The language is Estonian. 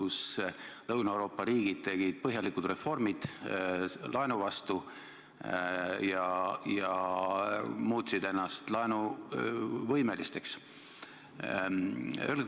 Siis tegid Lõuna-Euroopa riigid põhjalikud reformid laenu vastu ja muutsid ennast laenuvõimeliseks.